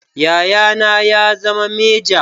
Yayana ya zama meja